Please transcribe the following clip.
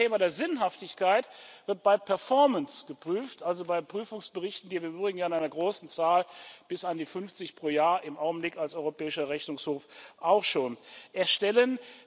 Das andere Thema der Sinnhaftigkeit wird bei Performance geprüft, also bei Prüfungsberichten, die wir im Übrigen in einer großen Zahl bis an die 50 pro Jahr im Augenblick als Europäischer Rechnungshof auch schon erstellen.